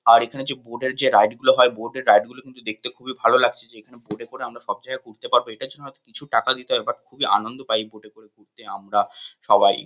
আর এখানে যে বোট -এর যে রাইড গুলো হয়। বোট -এর রাইড গুলো দেখতে কিন্তু খুবই ভালো লাগছে যে এখানে বোট -এ করে আমরা সব জায়গায় ঘুরতে পারবো। এটার জন্য হয়তো কিছু টাকা দিতে হয় কিন্তু বাট খুবই আনন্দ পাই বোট -এ করে ঘুরতে আমরা সবাই।